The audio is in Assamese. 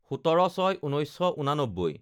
১৭/০৬/১৯৮৯